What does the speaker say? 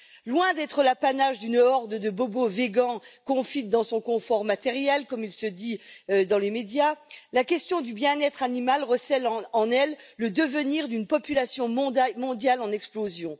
Loin d'être l'apanage d'une horde de bobos vegans confite dans son confort matériel, comme il se dit dans les médias, la question du bien être animal recèle en elle le devenir d'une population mondiale en explosion.